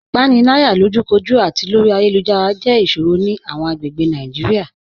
Ipanilaya, lojúkòjú àti lórí ayélujára, jẹ́ iṣòrò ni awọn agbègbè Naijiria.